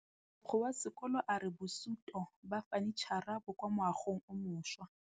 Mogokgo wa sekolo a re bosutô ba fanitšhara bo kwa moagong o mošwa.